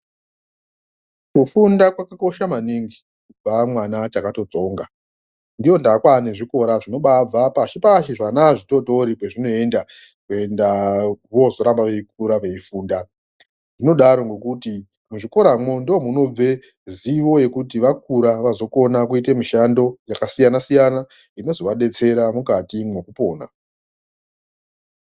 Kufunda kwakosha maningi kubva mwana achakatsonga. Ndoondaa kwaane zvikora zvinombaabva pashi pashi zvana zvitotori kwezvinoenda kuenda vozoramba veikura veifunda. Zvinodaro ngekuti muchikoramwo ndomunobve zivo yekuti vakura vazokona kuiite mishando yakasiyana siyana. Inozovadetsera mukati mwekupona.